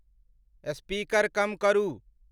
Speaker कम करू।